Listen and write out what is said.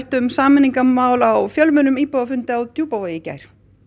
um sameiningarmál á fjölmennum íbúafundi á Djúpavogi í gær